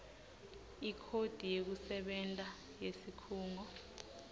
ikhodi yekusebenta yesikhungo